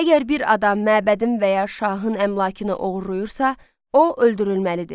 Əgər bir adam məbədin və ya şahın əmlakını oğurlayırsa, o öldürülməlidir.